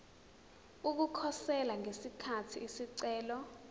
ukukhosela ngesikhathi isicelo